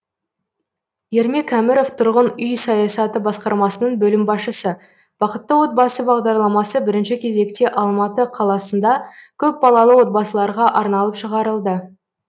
ермек әміров тұрғын үй саясаты басқармасының бөлім басшысы бақытты отбасы бағдарламасы бірінші кезекте алматы қаласында көпбалалы отбасыларға арналып шығарылды